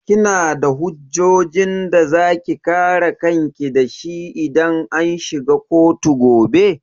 Kina da hujjojin da zaki kare kanki dashi idan an shiga kotu gobe?